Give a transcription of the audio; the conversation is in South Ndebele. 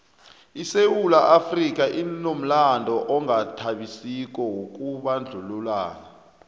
isewula afrika inomlando ongathabisiko wokubandlululana